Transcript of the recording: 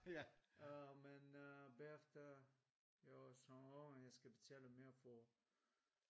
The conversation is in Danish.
Øh men øh bagefter jeg var sådan åh jeg skal betale mere for